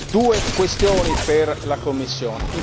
Due questioni per la Commissione.